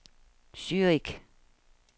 Zürich